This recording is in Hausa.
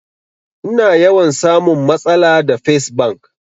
Ina yawan samun matsala da fes bank